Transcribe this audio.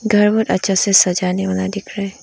घर में अच्छा से सजाने वाला दिख रहा है।